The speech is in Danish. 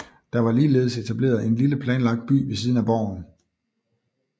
Der var ligeledes etableret en lille planlagt by ved siden af borgen